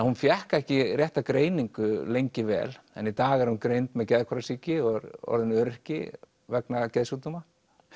hún fékk ekki rétta greiningu lengi vel en í dag er hún greind með geðhvarfasýki og orðin öryrki vegna geðsjúkdóma